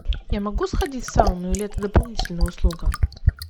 я могу сходить в сауну или это дополнительная услуга